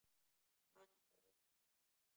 Hvað sáuði?